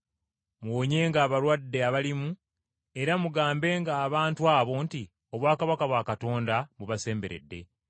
Muwonyenga abalwadde abalimu, era mugambenga abantu abo nti, ‘Obwakabaka bwa Katonda bubasemberedde.’